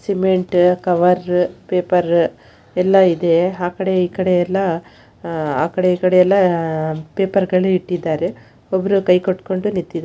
Cement cover paper ಎಲ್ಲಾ ಇದೆ ಆ ಕಡೆ ಈ ಕಡೆ ಎಲ್ಲಾ ಆ ಕಡೆ ಈ ಕಡೆ ಎಲ್ಲಾ ಪೇಪರ್‌ ಗಳು ಇಟ್ಟಿದ್ದಾರೆ ಒಬ್ಬರೂ ಕೈ ಕಟ್ಟಿಕೊಂಡು ನಿಂತಿದ್ಧಾರೆ.